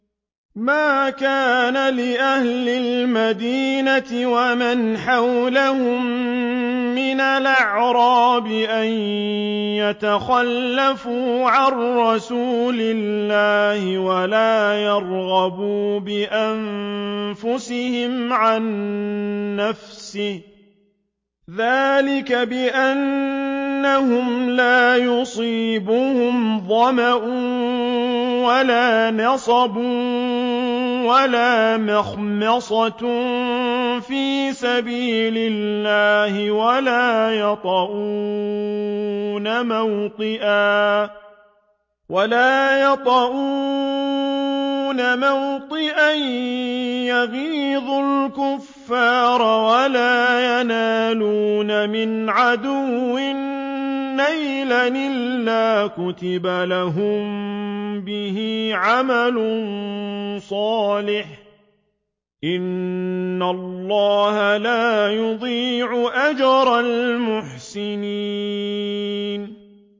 مَا كَانَ لِأَهْلِ الْمَدِينَةِ وَمَنْ حَوْلَهُم مِّنَ الْأَعْرَابِ أَن يَتَخَلَّفُوا عَن رَّسُولِ اللَّهِ وَلَا يَرْغَبُوا بِأَنفُسِهِمْ عَن نَّفْسِهِ ۚ ذَٰلِكَ بِأَنَّهُمْ لَا يُصِيبُهُمْ ظَمَأٌ وَلَا نَصَبٌ وَلَا مَخْمَصَةٌ فِي سَبِيلِ اللَّهِ وَلَا يَطَئُونَ مَوْطِئًا يَغِيظُ الْكُفَّارَ وَلَا يَنَالُونَ مِنْ عَدُوٍّ نَّيْلًا إِلَّا كُتِبَ لَهُم بِهِ عَمَلٌ صَالِحٌ ۚ إِنَّ اللَّهَ لَا يُضِيعُ أَجْرَ الْمُحْسِنِينَ